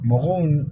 Mɔgɔw